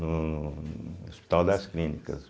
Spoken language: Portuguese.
no no Hospital das Clínicas.